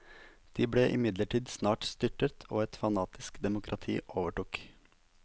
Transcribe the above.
De ble imidlertid snart styrtet, og et fanatisk demokrati overtok.